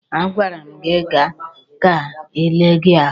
A gwara m gị gaa ka e lee gị ahụ!